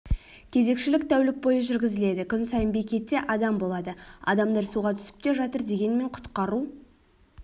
кезекшілік тәулік бойы жүргізіледі күн сайын бекетте адам болады адамдар суға түсіп те жатыр дегенмен құтқару